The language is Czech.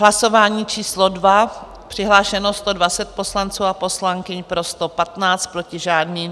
Hlasování číslo 2, přihlášeno 120 poslanců a poslankyň, pro 115, proti žádný.